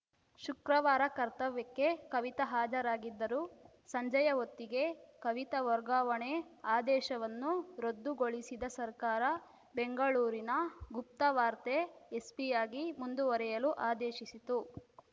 ಶುಕ್ರವಾರ ಕರ್ತವ್ಯಕ್ಕೆ ಕವಿತಾ ಹಾಜರಾಗಿದ್ದರು ಸಂಜೆಯ ಹೊತ್ತಿಗೆ ಕವಿತಾ ವರ್ಗಾವಣೆ ಆದೇಶವನ್ನು ರದ್ದುಗೊಳಿಸಿದ ಸರ್ಕಾರ ಬೆಂಗಳೂರಿನ ಗುಪ್ತವಾರ್ತೆ ಎಸ್ಪಿಯಾಗಿ ಮುಂದುವರೆಯಲು ಆದೇಶಿಸಿತು